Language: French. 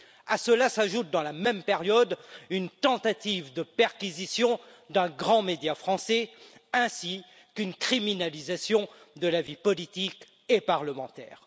À cela, s'ajoute, dans la même période, une tentative de perquisition d'un grand média français ainsi qu'une criminalisation de la vie politique et parlementaire.